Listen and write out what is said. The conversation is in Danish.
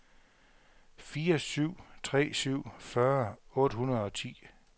fire syv tre syv fyrre otte hundrede og ti